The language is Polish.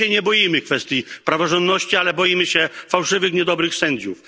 My się nie boimy kwestii praworządności, ale boimy się fałszywych, niedobrych sędziów.